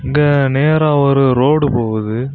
இங்க நேரா ஒரு ரோடு போகுது.